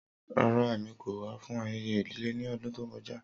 Rara, Emi ko wa fun ayẹyẹ idile ni ọdun to kọja.